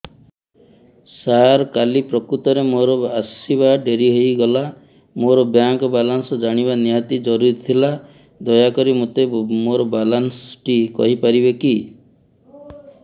ସାର କାଲି ପ୍ରକୃତରେ ମୋର ଆସିବା ଡେରି ହେଇଗଲା ମୋର ବ୍ୟାଙ୍କ ବାଲାନ୍ସ ଜାଣିବା ନିହାତି ଜରୁରୀ ଥିଲା ଦୟାକରି ମୋତେ ମୋର ବାଲାନ୍ସ ଟି କହିପାରିବେକି